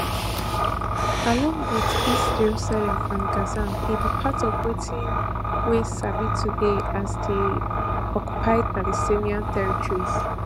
along wit east jerusalem and gaza e be part of wetin we sabi today as di occupied palestinian territories